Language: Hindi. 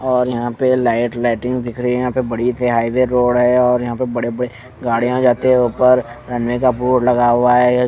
और यहां पे लाइट लाइटिंग भी दिख री है यहां पे बड़ी से हाईवे रोड है और यहां पे बड़े बड़े गाड़ियां जाते हैं ऊपर रनवे का बोर्ड लगा हुआ है।